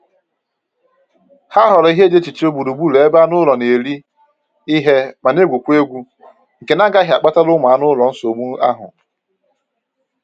Ha họọrọ ihe e ji ehicha gburu gburu ebe anụ ụlọ na-eri ihe ma na-egwukwa egwu nke na-agaghị akpatara ụmụ anụ ụlọ nsogbu ahụ